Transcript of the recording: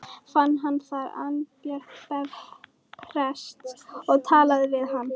Fann hann þar Arnbjörn prest og talaði við hann.